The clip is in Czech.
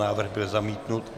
Návrh byl zamítnut.